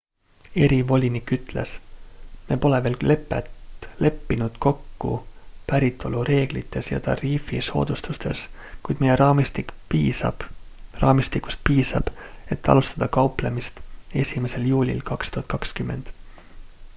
erivolinik ütles me pole veel leppinud kokku päritolureeglites ja tariifi soodustustes kuid meie raamistikust piisab et alustada kauplemist 1 juulil 2020